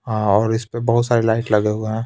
हाँ और इस पे बहोत सारी लाइट लगे हुए हैं.